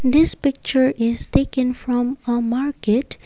this picture is taken from a market.